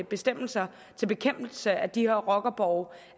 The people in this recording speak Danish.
bestemmelser til bekæmpelse af de her rockerborge